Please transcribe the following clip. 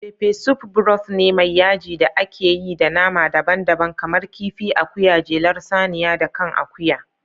Peppersoup broth ne mai yaji da ake yi da nama daban-daban kamar kifi, akuya, jelar saniya, da kan akuya.